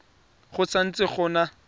go sa ntse go na